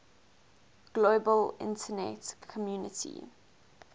global internet community